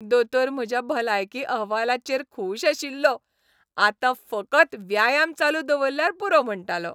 दोतोर म्हज्या भलायकी अहवालाचेर खूश आशिल्लो, आतां फकत व्यायाम चालू दवरल्यार पुरो म्हणटालो.